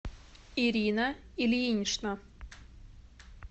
ирина ильинична